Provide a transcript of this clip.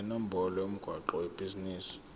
nenombolo yomgwaqo webhizinisi